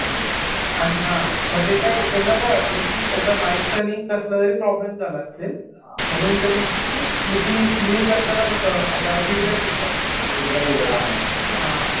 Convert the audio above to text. आणि, आणि हा मग ते काय, त्यांना काय वाटलं कि याचा माईकचा आणि कसलातरी प्रॉब्लेम झाला असेल. म्हणून त्यांनी मिटिंग लिव करताना कसं आता फीडबॅक घेतात. हा. हा.